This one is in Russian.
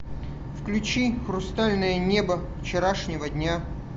включи хрустальное небо вчерашнего дня